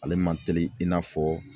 Ale man teli i n'a fɔ